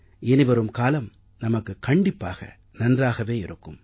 இனிவரும் காலம் நமக்குக் கண்டிப்பாக நன்றாகவே இருக்கும்